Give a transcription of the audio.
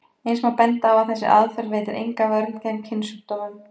Eins má benda á að þessi aðferð veitir enga vörn gegn kynsjúkdómum.